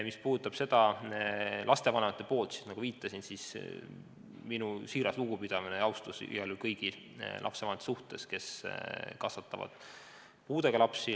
Mis puudutab lapsevanemaid, siis nagu ma viitasin, kuulub minu siiras lugupidamine ja austus kõigile lapsevanematele, kes kasvatavad puudega lapsi.